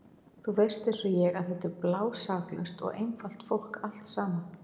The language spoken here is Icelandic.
Þú veist einsog ég að þetta er blásaklaust og einfalt fólk allt saman.